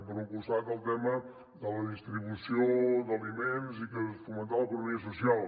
per un costat el tema de la distribució d’aliments i fomentar l’economia social